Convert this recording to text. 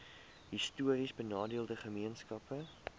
histories benadeelde gemeenskappe